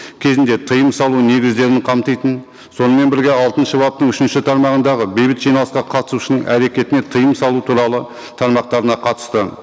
кезінде тыйым салу негіздерін қамтитын сонымен бірге алтыншы баптың үшінші тармағындағы бейбіт жиналысқа қатысушының әрекетіне тыйым салу туралы тармақтарына қатысты